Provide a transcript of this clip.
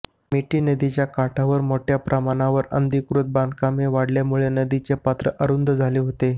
मिठी नदीच्या काठावर मोठ्य़ा प्रमाणावर अनधिकृत बांधकामे वाढल्यामुळे नदीचे पात्र अरुंद झाले होते